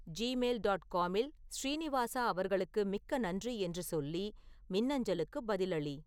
Gmail dot காமில் ஸ்ரீனிவாசா அவர்களுக்கு மிக்க நன்றி என்று சொல்லி மின்னஞ்சலுக்கு பதிலளி